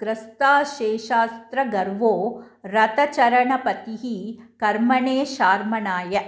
ग्रस्ताशेषास्त्रगर्वो रथचरणपतिः कर्मणे शार्मणाय